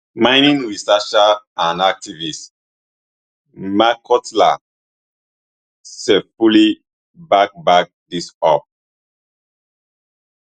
mining researcher and activist makhotla sefuli back back dis up